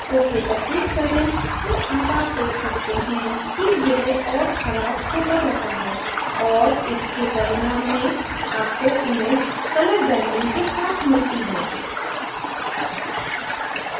ok पर click करें और अब आप देख सकते हैं कि यह और ख़राब होता जाता है और इसके परिणाम में आपको image colour banding के साथ मिलती है